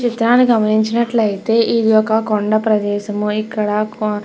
ఈ చిత్రాన్ని గమనించినట్లైతే ఇది ఒక కొండ ప్రదేశము ఇక్కడ --